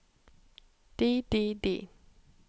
de de de